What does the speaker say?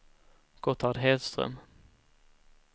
Gotthard Hedström